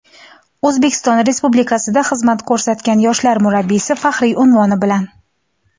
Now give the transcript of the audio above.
"O‘zbekiston Respublikasida xizmat ko‘rsatgan yoshlar murabbiysi" faxriy unvoni bilan.